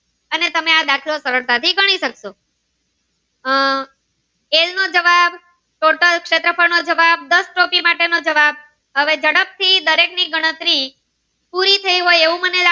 અને આ દાખલો તમે સરળ થી ગણી સક્સો આહ એલ નો જવાબ total શેત્રફ્ળ નો જવાબ દસ ટોપી માટે નો જાવ હવે જાડપ થી દરેક ની ગણતરી પુરી થઈ હોય.